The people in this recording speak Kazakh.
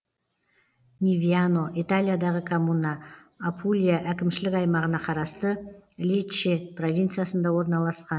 невьяно италиядағы коммуна апулия әкімшілік аймағына қарасты лечче провинциясында орналасқан